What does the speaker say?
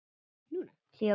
Hlý og góð.